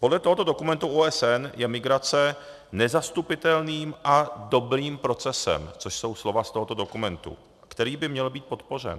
Podle tohoto dokumentu OSN je migrace nezastupitelným a dobrým procesem, což jsou slova z tohoto dokumentu, který by měl být podpořen.